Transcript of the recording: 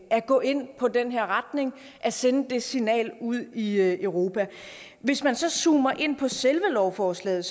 at gå ind på den her retning og at sende det signal ud i europa hvis man så zoomer ind på selve lovforslaget